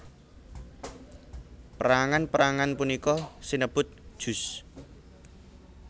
Perangan perangan punika sinebut juz